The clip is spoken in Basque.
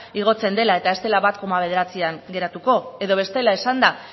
igotzen dela eta ez dela bat koma bederatzian geratuko edo bestela esanda